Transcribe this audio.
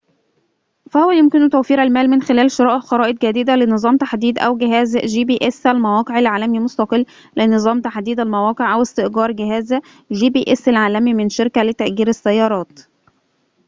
فهو يمكنه توفير المال من خلال شراء خرائط جديدة لنظام تحديد المواقع العالمي gps، أو جهاز مستقل لنظام تحديد المواقع العالمي gps، أو استئجار جهاز من شركة لتأجير السيارات